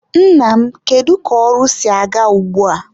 Nna m, kedu ka ọrụ si aga ugbua?